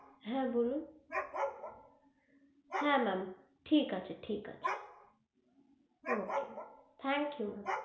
হা বলুন হা ma'am ঠিক আছে ঠিক আছে okay thankyou.